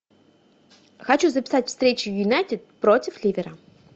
хочу записать встречу юнайтед против ливера